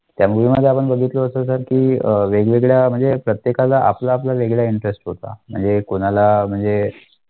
त्या movie बघितलं असं होतं की वेगवेगळ्या म्हणजे प्रत्येकाला आपला आपला वेगळा interest होता. म्हणजे कोणाला म्हणजे